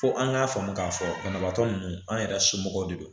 Fo an k'a faamu k'a fɔ banabaatɔ ninnu an yɛrɛ somɔgɔw de don